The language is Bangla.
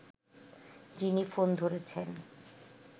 যিনি ফোন ধরেছেন